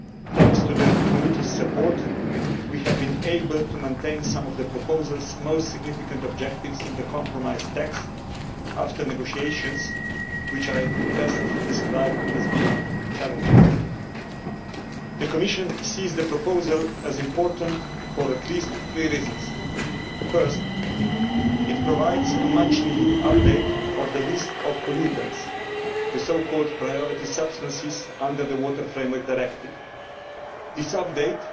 Thanks to the committee's support we have been able to maintain some of the proposal's most significant objectives in the compromise text after negotiations, which I could best describe as being challenging. The Commission sees the proposal as important for at least three reasons. Firstly, it provides a much needed update of the list of pollutants, the priority substances' under the Water Framework Directive. This update